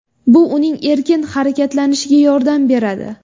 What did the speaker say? Bu uning erkin harakatlanishiga yordam beradi.